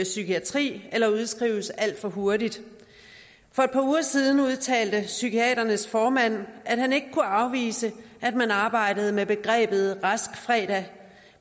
psykiatri eller udskrives alt for hurtigt for et par uger siden udtalte psykiaternes formand at han ikke kunne afvise at man arbejdede med begrebet rask fredag